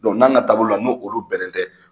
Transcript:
n'an ka taabolo la n' olu bɛnnen tɛ